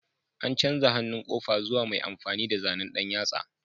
An canza hannun ƙofa zuwa mai amfani da zanen ɗan yatsa